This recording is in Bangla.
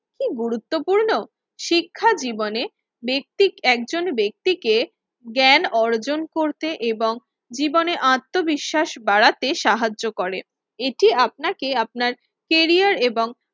কি গুরুত্বপূর্ণ? শিক্ষা জীবনে ব্যাক্তি একজন ব্যক্তিকে জ্ঞান অর্জন করতে এবং জীবনে আত্মবিশ্বাস বাড়াতে সাহায্য করে। এটি আপনাকে আমাদের কেরিয়ার এবং